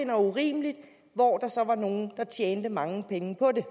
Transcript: var urimelige og hvor der så var nogle der tjente mange penge på det